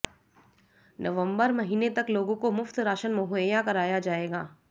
नवंबर महीने तक लोगों को मुफ्त राशन मुहैया कराया जाएगा